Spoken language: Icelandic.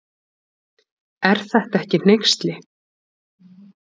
Er þetta ekki hneyksli.